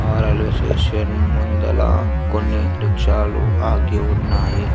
Station ముందల కొన్ని రిక్షాలు ఆగి ఉన్నాయి.